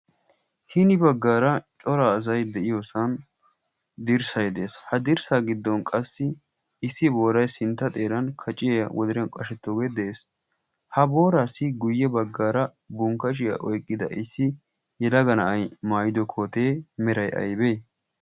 Hini baggaara coraa azai de'iyoosan dirssay de'ees. Ha dirssaa giddon qassi issi booray sintta xeeran kaciya wodariyan qashettoogee de'ees. Ha boraassi guyye baggaara bunqqashiyaa oyqqida issi yelaga na'ay maayido kootee meray aybee?